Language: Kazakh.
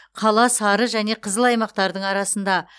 қала сары және қызыл аймақтардың арасында